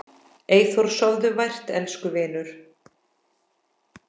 Eyþór, sofðu vært elsku vinur.